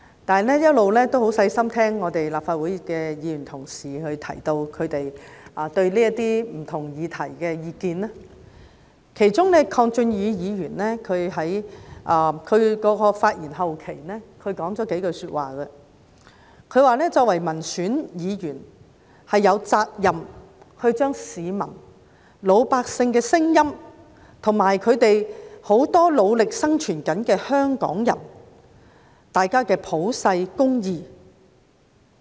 我一直很留心聆聽議員在討論不同議題時發表的意見，其中鄺俊宇議員發言後期提到幾句話，他說作為民選議員，有責任說出市民、老百姓的聲音，以及很多努力生存的香港人的普世價值。